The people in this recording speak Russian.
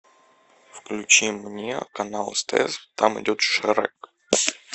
включи мне канал стс там идет шрек